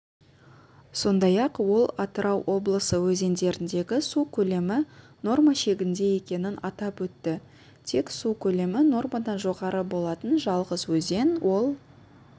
сондай-ақ ол атырау облысы өзендеріндегі су көлемі норма шегінде екенін атап өтті тек су көлемі нормадан жоғары болатын жалғыз өзен ол